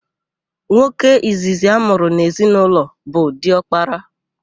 Nwoke izizi amụrụ n'ezinaụlọ bụ diọkpara.